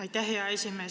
Aitäh, hea esimees!